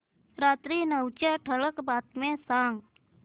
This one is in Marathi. रात्री नऊच्या ठळक बातम्या सांग